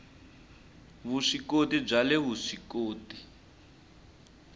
vuswikoti bya le vusw ikoti